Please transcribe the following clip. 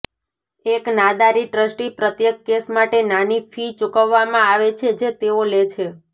એક નાદારી ટ્રસ્ટી પ્રત્યેક કેસ માટે નાની ફી ચૂકવવામાં આવે છે જે તેઓ લે છે